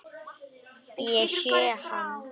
Ég sé hann.